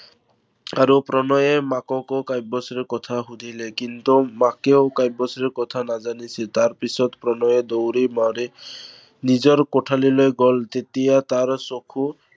আৰু প্ৰণয়ে মাককো কাব্যশ্ৰীৰ কথা সুধিলে। কিন্তু মাকেও কাব্যশ্ৰীৰ কথা নাজানিছিল। তাৰপিছত প্ৰণয়ে দৌৰি মাৰি নিজৰ কোঠালিলৈ গল। তেতিয়া তাৰ চকু